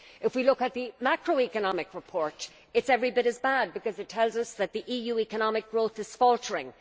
If we look at the macro economic report it is every bit as bad, because it tells us that the EU's economic growth is faltering.